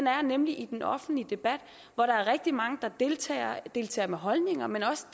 er nemlig i den offentlige debat hvor der er rigtig mange der deltager deltager med holdninger men også